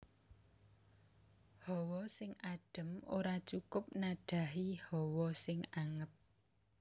Hawa sing adem ora cukup nadhahi hawa sing anget